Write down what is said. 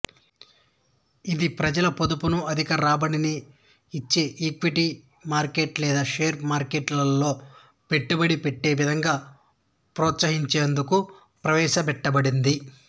ఇది ప్రజల పొదుపును అధిక రాబడిని ఇచ్చే ఈక్విటీ మార్కెట్ లేదా షేర్ మార్కెట్లో పెట్టుబడి పెట్టేవిధంగా ప్రోత్సహించేందుకు ప్రవేశపెట్టబడింది